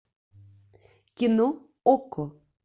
кино окко